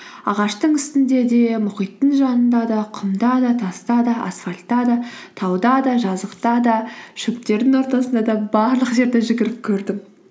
ағаштың үстінде де мұхиттың жанында да құмда да таста да асфальтта да тауда да жазықта да шөптердің ортасында да барлық жерде жүгіріп көрдім